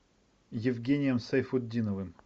евгением сайфутдиновым